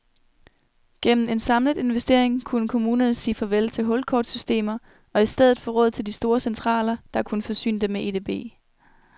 Gennem en samlet investering kunne kommunerne sige farvel til hulkortsystemer og i stedet få råd til store centraler, der kunne forsyne dem med edb.